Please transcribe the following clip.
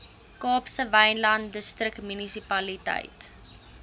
kaapse wynland distriksmunisipaliteit